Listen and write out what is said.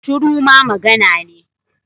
Shuru ma magana ne.